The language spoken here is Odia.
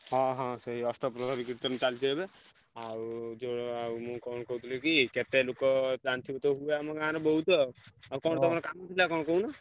ହଁ ହଁ ସେଇ ଅଷ୍ଟପ୍ରହରୀ କୀର୍ତ୍ତନ ଚାଲିଚି ଏବେ। ଆଉ ଯୋଉ ଆଉ ମୁଁ କଣ କହୁଥିଲି କି କେତେ ଲୋକ ତ ଜାଣିଥିବୁ ତ ତୁ ଆମ ଗାଁ ର ବହୁତୁ ଆଉ ଆଉ ତମର ତ କଣ କାମ ଥିଲା କହୁନୁ।